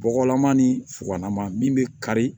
Bɔgɔlama ni fuwalama min bɛ kari